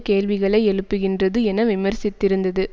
கேள்விகளை எழுப்புகின்றது என விமர்சித்திருந்தது